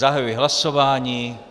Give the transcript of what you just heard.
Zahajuji hlasování.